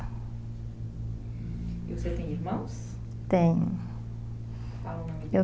E você tem irmãos? Tenho. Qual o nome, eu